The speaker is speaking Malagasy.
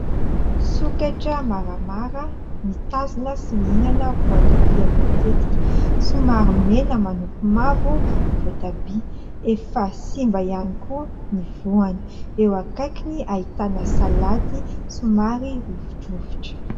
Sokatra maramara mitazona sy mihinana voatabia voatetika, somary mena manopy mavo ny voatabia, efa simba ihany koa ny voany, eo akaikiny ahitana salady somary lozidozitra.